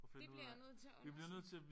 Det bliver jeg nødt til at huske